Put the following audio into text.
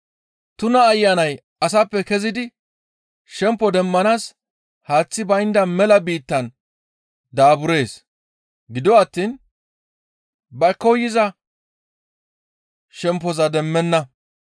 «Tuna ayanay asappe kezidi shempo demmanaas haaththi baynda mela biittan daaburees. Gido attiin ba koyza shemppoza demmenna.